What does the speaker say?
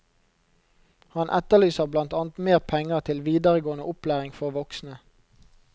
Han etterlyser blant annet mer penger til videregående opplæring for voksne.